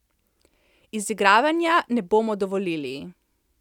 Izigravanja ne bomo dovolili.